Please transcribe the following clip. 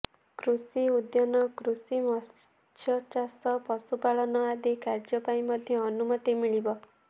କୃଷି ଉଦ୍ୟାନକୃଷି ମତ୍ସ୍ୟଚାଷ ପଶୁପାଳନ ଆଦି କାର୍ୟ୍ୟ ପାଇଁ ମଧ୍ୟ ଅନୁମତି ମିଳିବ